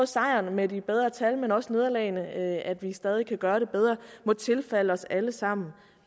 sejren med de bedre tal men også nederlagene nemlig at vi stadig kan gøre det bedre må tilfalde os alle sammen